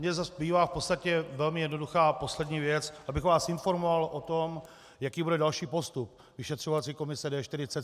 Mně zbývá v podstatě velmi jednoduchá a poslední věc, abych vás informoval o tom, jaký bude další postup vyšetřovací komise D47.